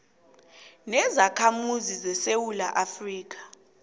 nezakhamuzi zesewula afrika